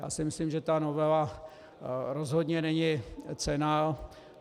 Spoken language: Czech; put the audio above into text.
Já si myslím, že ta novela rozhodně není cenná.